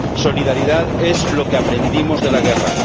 Solidaridad es lo que aprendimos de la guerra.